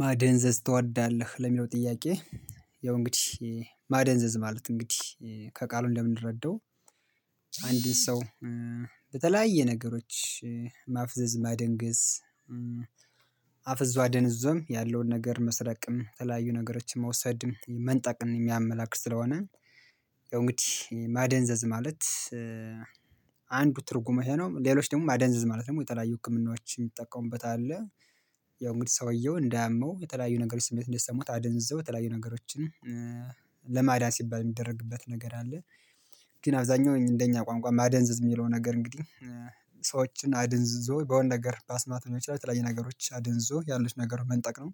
ማደንዘዝ ትወዳለህ ለሚለው ጥያቄ? ያው እንግዲህ ማደንዘዝ ማለት እንግዲህ ከቃሉ እንደምንረዳው አንድን ሰው በተለያየ ነገሮች ማፍዘዝ ማደንገዝ አፍዞ አደንዝዞም ያለውን ነገር መስረቅም የተለያዩ ነገሮችን መውሰድም መንጠቅም የሚያመላክት ስለሆነ እንግዲህ ማደንዘዝ ማለት አንዱ ትርጉሙ ይሄ ነው ሌሎች ደግሞ ማደንዘዝ ማለት ደግሞ የተለያዩ ህክምናዎችን የሚጠቀሙበት አለ። ያው እንግዲህ ሰውየው እንዳያመው የተለያዩ ነገሮች ስሜት እንዳይሰሙት አደንዝዘው የተለያዩ ነገሮችን ለማዳን ሲባል የሚደረግበት ነገር አለ። ግን አብዛኛው እንደኛ ቋንቋ ማደንዘዝ የሚለው ነገር እንግዲህ ሰዎችን አድንዝዞ በሆነ ነገር በአስማት ላይ በተለያየ ነገሮች አድንዝዞ ያለው ነገር መንጠቅ ነው።